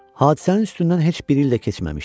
Hadisənin üstündən heç bir il də keçməmişdi.